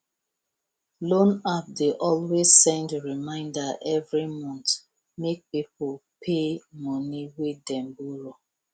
loan app dey always send reminder every month make people pay money wey them borrow